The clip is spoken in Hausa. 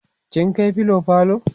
kin kai filo falo?